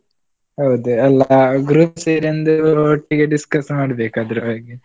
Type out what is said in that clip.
ಹೌದು, ಎಲ್ಲ group ಸೇರಿ ಒಂದು ಒಟ್ಟಿಗೆ discuss ಮಾಡ್ಬೇಕು ಅದರ ಬಗ್ಗೆ.